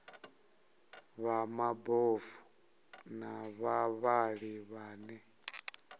vha mabofu na vhavhali vhane